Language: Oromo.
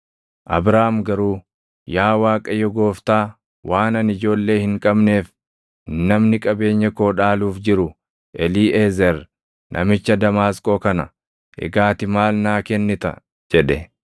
Abraam garuu, “Yaa Waaqayyo Gooftaa, waan ani ijoollee hin qabneef namni qabeenya koo dhaaluuf jiru Eliiʼezer namicha Damaasqoo kana; egaa ati maal naa kennita?” jedhe.